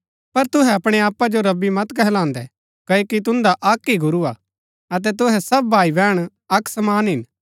पर तुहै अपणै आपा जो रब्बी गुरू मत कहलान्दैं क्ओकि तुन्दा अक्क ही गुरू हा अतै तुहै सब भाईबैहण अक्क समान हिन